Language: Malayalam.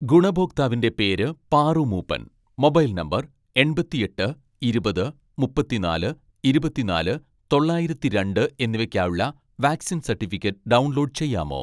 ഗുണഭോക്താവിന്റെ പേര് പാറു മൂപ്പൻ, മൊബൈൽ നമ്പർ എൺപത്തിയെട്ട് ഇരുപത് മുപ്പത്തിനാല് ഇരുപത്തിനാല് തൊള്ളായിരത്തിരണ്ട്‍ എന്നിവയ്‌ക്കായുള്ള വാക്‌സിൻ സർട്ടിഫിക്കറ്റ് ഡൗൺലോഡ് ചെയ്യാമോ